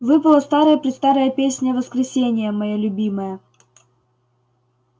выпала старая-престарая песня воскресения моя любимая